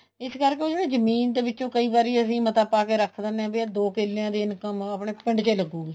ਇਸ ਕਰਕੇ ਉਹ ਜਿਹੜਾ ਜ਼ਮੀਨ ਦੇ ਵਿਚੋਂ ਕਈ ਵਾਰੀ ਅਸੀਂ ਮਤਾ ਪਾਕੇ ਰੱਖ ਦਿੰਨੇ ਆ ਵੀ ਆ ਦੋ ਕਿੱਲੇ ਆ ਦੀ income ਆਪਣੇ ਪਿੰਡ ਚ ਏ ਲਗੂਗੀ